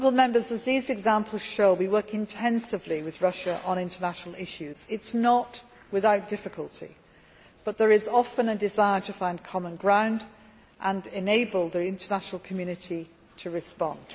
As these examples show, we work intensively with Russia on international issues albeit not without difficulty, but there is often a desire to find common ground and enable the international community to respond.